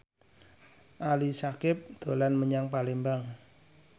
Ali Syakieb dolan menyang Palembang